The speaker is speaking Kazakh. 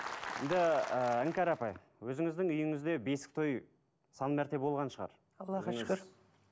іңкәр апай өзіңіздің үйіңізде бесік той сан мәрте болған шығар аллаға шүкір